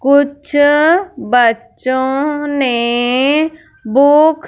कुछ बच्चों ने बुक --